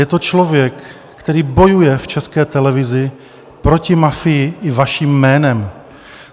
Je to člověk, který bojuje v České televizi proti mafii i vaším jménem.